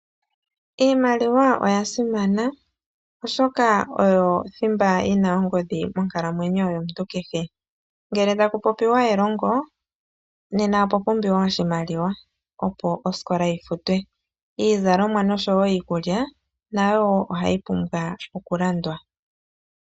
Iimaliwa oya simana oshoka oyo thimba yina oongodhi monkalamwenyo yomuntu kehe, ngele taku popiwa elongo nena opwa pumbiwa oshimaliwa opo osikola yi futwe. Iizalomwa oshowo iikulya nayo oha yi pumbwa oku landwa.